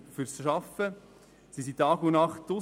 Polizistinnen und Polizisten sind Tag und Nacht draussen.